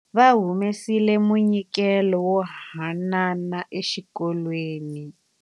Wa humesile munyikelo wo haanana exikolweni.